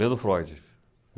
Lendo Freud.